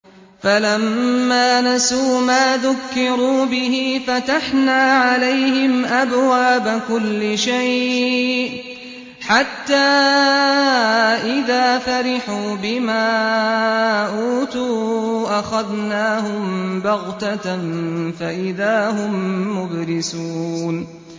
فَلَمَّا نَسُوا مَا ذُكِّرُوا بِهِ فَتَحْنَا عَلَيْهِمْ أَبْوَابَ كُلِّ شَيْءٍ حَتَّىٰ إِذَا فَرِحُوا بِمَا أُوتُوا أَخَذْنَاهُم بَغْتَةً فَإِذَا هُم مُّبْلِسُونَ